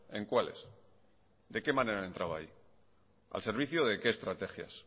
en cuáles de qué manera han entrado ahí al servicio de qué estrategias